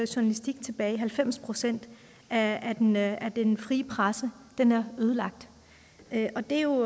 journalistik tilbage halvfems procent af den af den frie presse er ødelagt og det er jo